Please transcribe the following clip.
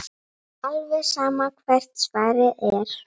Alveg sama hvert svarið er.